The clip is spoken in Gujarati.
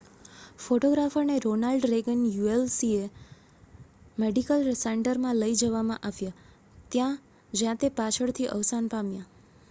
ફોટોગ્રાફરને રોનાલ્ડ રેગન યુસીએલએ મેડિકલ સેન્ટરમાં લઈ જવામાં આવ્યા જ્યાં તે પાછળથી અવસાન પામ્યા